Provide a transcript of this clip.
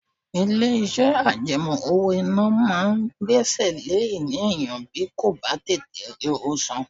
Ilé iṣẹ́ àjẹmó owó-ìná máa ń gbẹ́sẹ̀ lé ìní èèyàn bí kò bá tètè rí owó san.